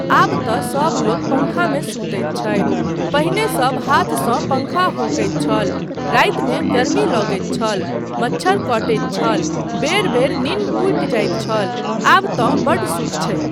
आब तँ सब लोक पङ्खामे सुतैत छथि, पहिने सब हाथसँ पङ्खा हौंकैत छल, रातिमे गर्मी लगैत छल, मच्छर कटैत छल, बेर बेर नीन्द टूटि जाइत छल, आब तँ बड्ड सुख छै।